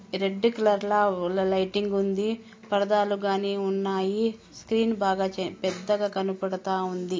Red కాలర్ల వ ల-లైటింగ్ ఉంది పరదాలు గానీ ఉన్నాయి స్క్రీన్ బాగా చ పెద్దగా కనపడతా ఉంది.